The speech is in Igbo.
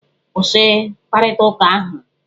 Kwụsị mkparịta ụka ahụ!